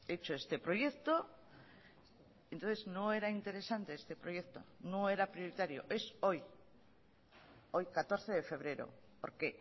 hecho este proyecto entonces no era interesante este proyecto no era prioritario es hoy hoy catorce de febrero porque